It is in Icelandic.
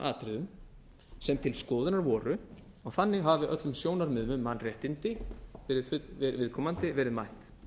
atriðum sem til skoðunar voru og þannig af öllum sjónarmiðum um mannréttindi viðkomandi verið mætt